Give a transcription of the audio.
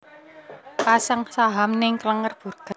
Pasang saham ning Klenger Burger